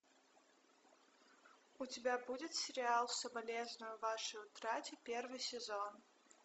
у тебя будет сериал соболезную вашей утрате первый сезон